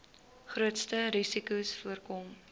grootste risikos voorkom